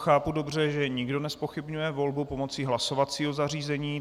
Chápu dobře, že nikdo nezpochybňuje volbu pomocí hlasovacího zařízení.